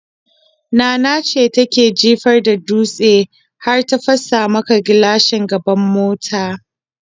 Nana ce take jifa da dutse har ta fasa maka gilashin gaban mota.